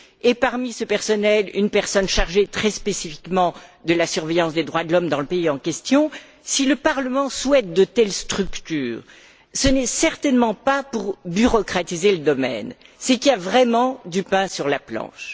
et parmi ce personnel, une personne chargée, très spécifiquement, de la surveillance des droits de l'homme dans le pays en question, si le Parlement souhaite de telles structures, ce n'est certainement pas pour bureaucratiser le domaine, c'est qu'il y a vraiment du pain sur la planche.